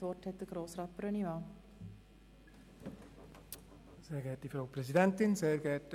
Zuerst hat Grossrat Brönnimann das Wort.